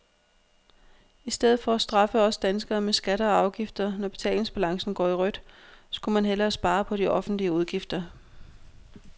I stedet for at straffe os danskere med skatter og afgifter, når betalingsbalancen går i rødt, skulle man hellere spare på de offentlige udgifter.